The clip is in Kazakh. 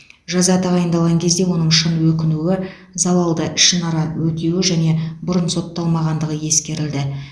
жаза тағайындалған кезде оның шын өкінуі залалды ішінара өтеуі және бұрын сотталмағандығы ескерілді